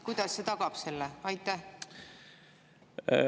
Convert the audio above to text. Kuidas see tagab selle?